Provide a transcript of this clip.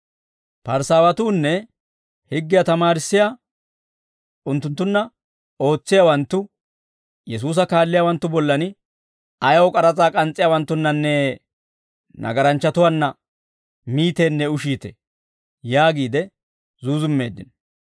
Parisaawatuunne higgiyaa tamaarissiyaa, unttunttunna ootsiyaawanttu, Yesuusa kaalliyaawanttu bollan, «Ayaw k'aras'aa k'ans's'iyaawanttunnanne nagaranchchatuwaanna miiteennee ushiitee?» yaagiide zuuzummeeddino.